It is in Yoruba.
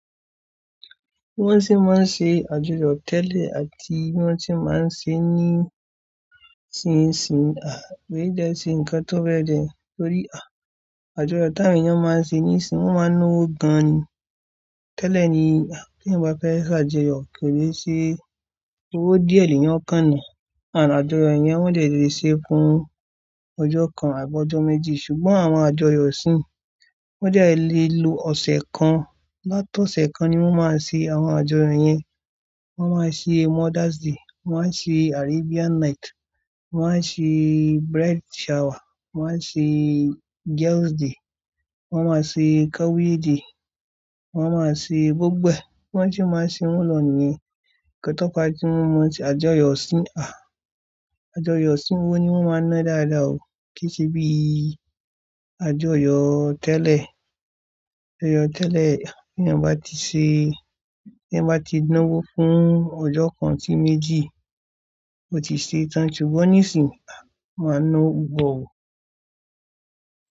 Wọ́n sì máa ń ṣe àjọyọ̀ tẹ́lẹ̀ àti wọ́n tí máa ń ṣe ní ìsìn, mi de ṣe nǹkan tó fẹ́ jẹ torí, àjọyọ̀ tá awọn èèyàn máa ń ṣe ní ìsìn, wọ́n máa ń ná owó gan ni. Tẹ́lẹ̀ ni tí èèyàn bá fẹ́ ṣàjọyọ̀ kò lè ṣe owó díẹ̀ le èèyàn ọ́ kan nà. Àjọyọ̀ yẹn wọ́n dè lè ṣe fún ọjọ́ kan àbọ́ ọjọ́ méjì ṣùgbọ́n àwọn àjọyọ̀ iṣìn wọ́n jẹ́ lè lo ọ̀sẹ̀ kan, láti ọ̀sẹ̀ kan ni wọ́n máa ń ṣe àwọn àjọyọ̀ yẹn. Wọ́n máa ń ṣe Mothers Day, wọ́n máa ń ṣe Arabian Night, wọ́n máa ń ṣe Bride Shower, wọ́n máa ń ṣe Girls Day, wọ́n máa ń ṣe Cowry Day, wọ́n máa ń ṣe gbogbo. Bo se máa ń ṣe wọ́n lò ní, nnkan tọ́ pa tí wọ́n àjọyọ̀ iṣìn, àjọyọ̀ iṣìn owó ni wọ́n máa ń ná dáadáa o kí í ṣe bí àjọyọ̀ tẹ́lẹ̀. Àjọyọ̀ tẹ́lẹ̀ ti èèyàn bá ti ṣe, tí èèyàn bá ti ná owó fún ọjọ́ kan sí méjì, ó ti ṣe tán ṣùgbọ́n ní ìsìn, a máa ná owó pupọ̀ o.